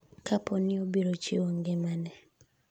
kapo ni obiro chiwo ngimane